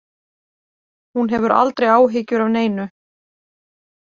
Hún hefur aldrei áhyggjur af neinu.